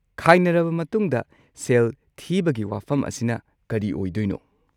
ꯈꯥꯏꯅꯔꯕ ꯃꯇꯨꯡꯗ ꯁꯦꯜ ꯊꯤꯕꯒꯤ ꯋꯥꯐꯝ ꯑꯁꯤꯅ ꯀꯔꯤ ꯑꯣꯢꯗꯣꯢꯅꯣ?